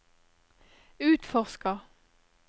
utforsker